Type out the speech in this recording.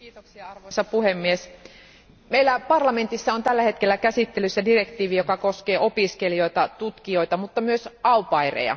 Arvoisa puhemies, meillä parlamentissa on tällä hetkellä käsittelyssä direktiivi, joka koskee opiskelijoita, tutkijoita mutta myös au paireja.